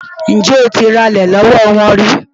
Ǹjẹ́ o ti ralẹ̀ lọ́wọ́ wọn rí?